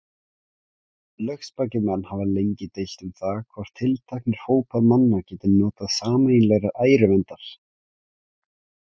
Lögspakir menn hafa lengi deilt um það, hvort tilteknir hópar manna geti notið sameiginlegrar æruverndar.